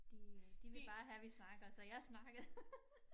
De øh de vil bare have vi snakker så jeg snakkede